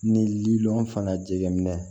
Ni lili fangajɛgɛn na